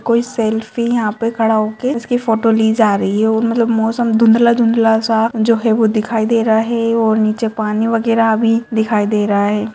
कोई सेल्फी यहाँ पे खड़ा होके उसकी फोटो ली जा रही है और मतलब मौसम धुँधला-धुँधला सा जो है वो दिखाई दे रहा है और नीचे पानी वगैरा भी दिखाई दे रहा है।